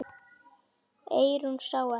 Eyrún sá ekki.